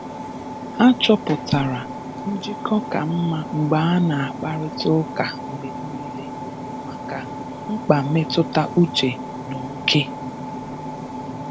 Ha chọpụtara njịkọ ka mma mgbe a na akparịta ụka mgbe niile maka mkpa mmetụta uche na oke